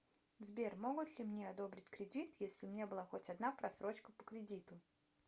сбер могут ли мне одобрить кредит если у меня была хоть одна просрочка по кредиту